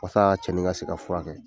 Wasa cɛnin in ka se ka fura kɛ .